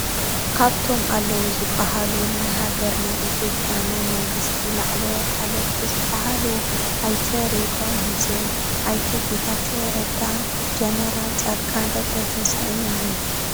ካብቶም ኣለዉ ዝበሃሉ ናይ ሃገርና ኢትዮጵያ ናይ መንግስቲ ላዕለዎት ሓለፍቲ ዝበሃሉ ኣይተ ሬድዋን ሑሴን÷ኣይተ ጌታቸው ረዳን ጀነራል ፃድቃን ገበረትንሳኤን እዮም።